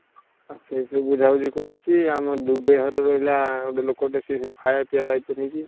ସେଇ ବୁଝାବୁଝି କରୁଛି ଆମ ଘର ରହିଲା ସେ ଗୋଟେ ଲୋକ ଟେ ସେ ଖାଇବା ପିଇବା ଦାଇତ୍ଵ ନେଇଛି।